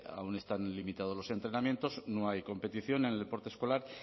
aún están limitados los entrenamientos no hay competición en el deporte escolar